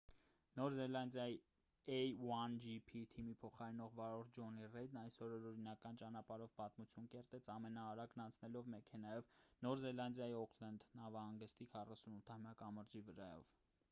նոր զելանդիայի a1gp թիմի փոխարինող վարորդ ջոնի ռեյդն այսօր օրինական ճանապարհով պատմություն կերտեց ամենաարագն անցնելով մեքենայով նոր զելանդիայի օուքլենդ նավահանգստի 48-ամյա կամրջի վրայով